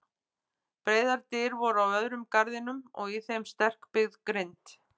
Breiðar dyr voru á öðrum garðinum og í þeim sterkbyggð grind.